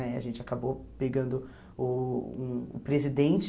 Né a gente acabou pegando uh o presidente...